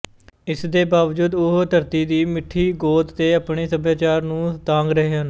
ਇਸ ਦੇ ਬਾਵਜੂਦ ਉਹ ਧਰਤੀ ਦੀ ਮਿੱਠੀ ਗੋਦ ਤੇ ਆਪਣੇ ਸੱਭਿਆਚਾਰ ਨੂੰ ਤਾਂਘ ਰਹੇ ਹਨ